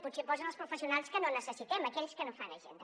potser hi posen els professionals que no necessitem aquells que no fan agenda